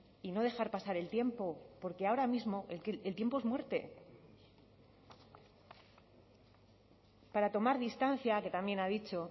y no dejar pasar el tiempo porque ahora mismo el tiempo es muerte para tomar distancia que también ha dicho